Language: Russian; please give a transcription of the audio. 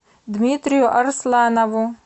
дмитрию арсланову